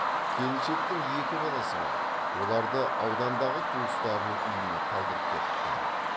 келіншектің екі баласы бар оларды аудандағы туыстарының үйіне қалдырып кетіпті